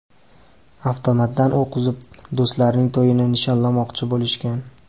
Avtomatdan o‘q uzib, do‘stlarining to‘yini nishonlamoqchi bo‘lishgan.